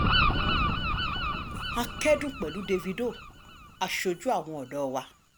a kẹ́dùn pẹ̀lú dávido aṣojú àwọn ọ̀dọ́ wa